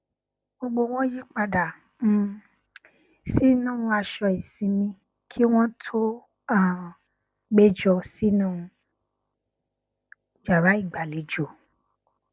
gbogbo wọn yí padà um sínú aṣọ ìsinmi kí wọn tó um péjọ sínú yàrá ìgbàlejò